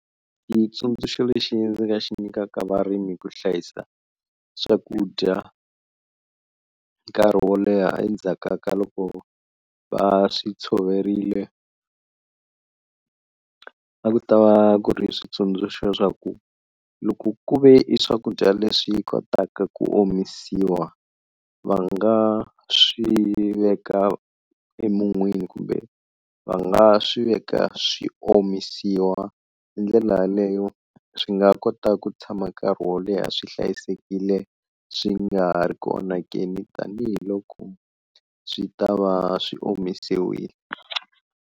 Xitsundzuxo lexi ndzi nga xi nyikaka varimi ku hlayisa swakudya nkarhi wo leha endzhaku ka loko va swi tshoverile a ku ta va ku ri switsundzuxo swa ku loko ku ve i swakudya leswi kotaka ku omisiwa, va nga swi veka emun'wini kumbe va nga swi veka swi omisiwa, hi ndlela yaleyo swi nga kota ku tshama nkarhi wo leha swi hlayisekile swi nga ri ku onhakeni tanihiloko swi ta va swi omisiwile.